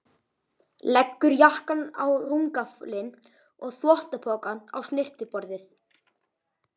Leggur jakkann á rúmgaflinn og þvottapokann á snyrtiborðið.